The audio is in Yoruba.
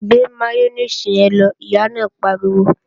Gbé máyónèsì yẹn lọ, Ìyá náà pariwo!